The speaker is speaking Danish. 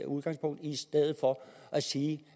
udgangspunkt i i stedet for at sige